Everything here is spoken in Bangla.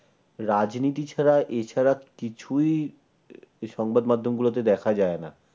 রাজনীতি ছাড়া এ ছাড়া কিছুই সংবাদ মাধ্যম গুলোতে দেখা যায় না